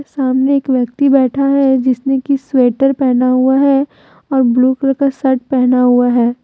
सामने एक व्यक्ति बैठा है जिसने की स्वेटर पहना हुआ है और ब्लू कलर शर्ट पहना हुआ है।